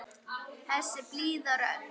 Þessi blíða rödd.